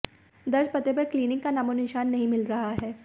दर्ज पते पर क्लीनिक का नामोनिशान नहीं मिल रहा है